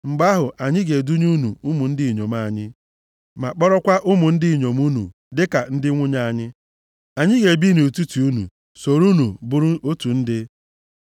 Mgbe ahụ anyị ga-edunye unu ụmụ ndị inyom anyị, ma kpọrọkwa ụmụ ndị inyom unu dịka ndị nwunye anyị. Anyị ga-ebi nʼetiti unu, soro unu bụrụ otu ndị.